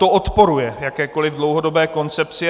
To odporuje jakékoliv dlouhodobé koncepci.